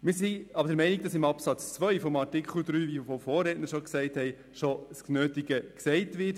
Wir sind jedoch der Ansicht, dass in Absatz 2 von Artikel 3 das Nötige bereits gesagt wird.